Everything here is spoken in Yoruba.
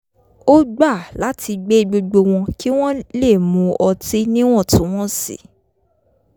ó gbà láti gbé gbogbo wo̩n kí wón lè mu ọtí níwọ̀n-tún-wọ̀n sì